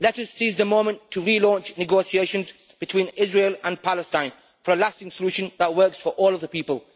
Let us seize the moment to re launch negotiations between Israel and Palestine for a lasting solution that works for all of the people.